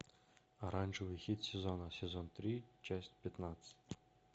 оранжевый хит сезона сезон три часть пятнадцать